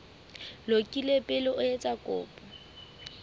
lokile pele o etsa kopo